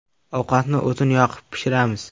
Ovqatni o‘tin yoqib pishiramiz.